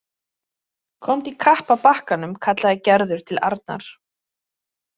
Komdu í kapp að bakkanum kallaði Gerður til Arnar.